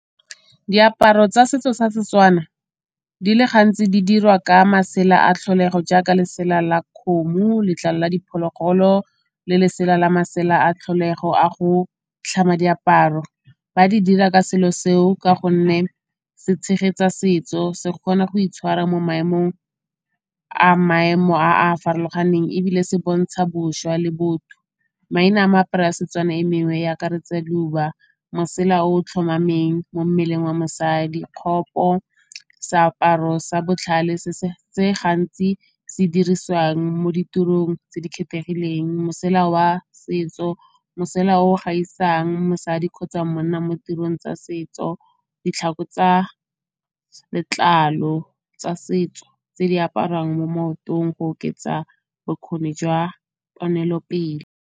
Diaparo tsa setso sa Setswana di le gantsi di dirwa ka masela a tlholego jaaka lesela la kgomo, letlalo la diphologolo le lesela la masela a tlholego a go tlhama diaparo. Ba di dira ka selo se o ka gonne se tshegetsa setso, se kgona go itshwara mo maemong a maemo a a farologaneng ebile se bontsha bošwa le botho. Maina a meaparo ya Setswana e mengwe e akaretse leuba mosela o o tlhomameng mo mmeleng wa mosadi, kgopo seaparo sa botlhale se gantsi se dirisiwang mo ditirong tse di kgethegileng. Mosela wa setso mosela o gaisang mosadi kgotsa monna mo tirong tsa setso, ditlhako tsa letlalo tsa setso tse di aparwang mo maotong go oketsa bokgoni jwa ponelopele.